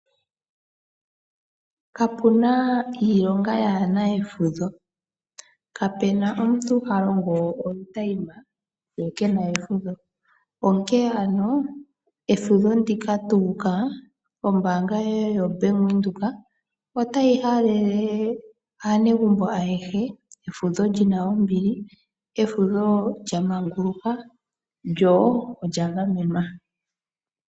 Kapuna iilonga yaana efudho. Kapena omuntu ha longo olutayima ye kena efudho. Onkene ano efudho ndika tu ukala ombanga yaBank Windhoek otayi halele aanegumbo ayehe efudho lina ombili. Efudho lyamanguluka lyo olya gamenwa.